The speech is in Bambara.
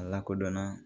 A lakodɔnna